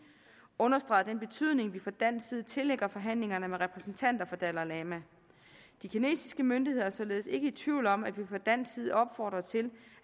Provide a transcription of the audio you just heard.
understreget den betydning vi fra dansk side tillægger forhandlingerne med repræsentanter for dalai lama de kinesiske myndigheder er således ikke i tvivl om at vi fra dansk side opfordrer til